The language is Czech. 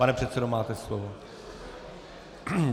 Pane předsedo, máte slovo.